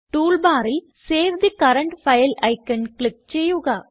tool ബാറിൽ save the current file icon click ചെയ്യുക